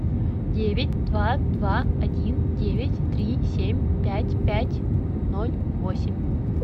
девять два два один девять три семь пять пять ноль восемь